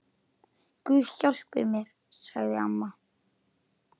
Guð hjálpi mér, sagði amma.